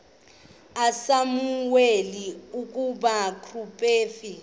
usamuweli ukuba ngumprofeti